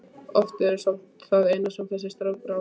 Orðin eru samt það eina sem þessi strákur á.